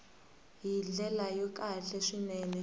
hi ndlela ya kahle swinene